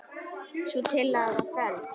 Sú tillaga var felld.